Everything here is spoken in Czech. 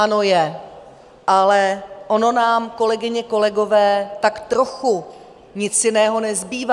Ano, je, ale ono nám, kolegyně, kolegové, tak trochu nic jiného nezbývá.